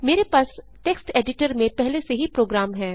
मेरे पास text editor में पहले से ही प्रोग्राम है